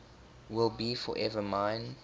will be forever mine